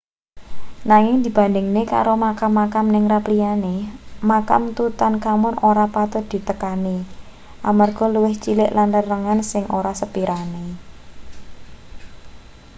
nanging dibandhingake karo makam-makam ningrat liyane makam tutankhamun ora patut ditekani amarga luwih cilik lan rerenggan sing ora sepirane